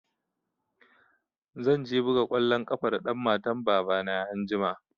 Zan je buga kwalon ƙafa da ɗan matan baba na anjima